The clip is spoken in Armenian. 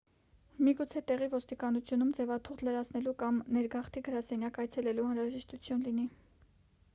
միգուցե տեղի ոստիկանությունում ձևաթուղթ լրացնելու կամ ներգաղթի գրասենյակ այցելելու անհրաժեշտություն լինի